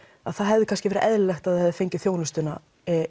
það hefði kannski verið eðlilegt að það hefði fengið þjónustuna